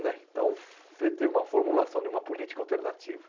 né então, você teve uma formulação de uma política alternativa.